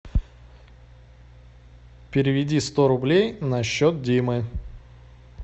переведи сто рублей на счет димы